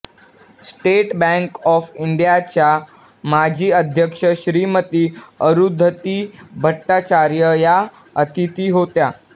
state bank of इंडियाच्या माजी अध्यक्ष श्रीमती अरुंधती भट्टाचार्य या अतिथी होत्या